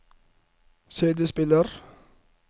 CD-spiller